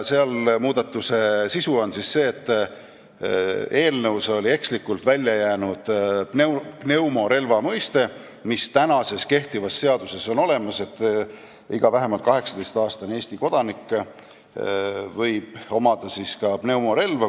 Muudatuse sisu on see, et eelnõus oli ekslikult välja jäänud pneumorelva mõiste, mis kehtivas seaduses on olemas, st iga vähemalt 18-aastane Eesti kodanik võib omada ka pneumorelva.